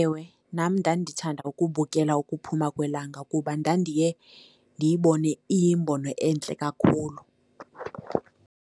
Ewe, nam ndandithanda ukubukela ukuphuma kwelanga kuba ndandiye ndiyibone iyimbono entle kakhulu.